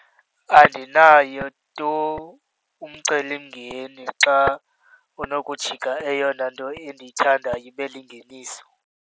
Andinayo tu umcelimngeni xa kunokujika eyona nto endiyithandayo ibe lingeniso.